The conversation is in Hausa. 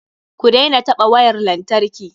Ku daina taɓa wayar lantarki.